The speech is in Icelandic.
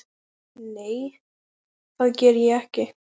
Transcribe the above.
Nei, það geri ég ekki.